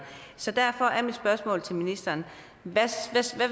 så derfor er mit spørgsmål til ministeren hvad